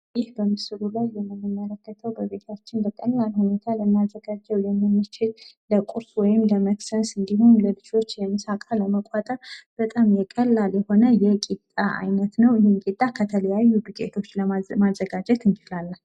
ይህ በምስሉ ላይ የምንመለከተው በቤታችን በቀላሉ ልናዘጋጀው የምንችለው ለቁርስ ወይም ደግሞ ለመቅሰስ እንድሁም ለልጆች የምሳ እቃ ለመቋጠር ቀላል የሆነ የቂጣ አይነት ነው። ይህ ቂጣ ከተለያዩ ዱቄቶች ማዘጋጀት እንችላለን።